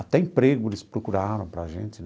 Até emprego eles procuraram para a gente.